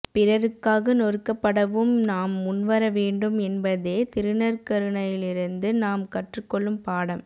பிறருக்காக நொறுக்கப்படவும் நாம் முன்வரவேண்டும் என்பதே திருநற்கருணையிலிருந்து நாம் கற்றுக்கொள்ளும் பாடம்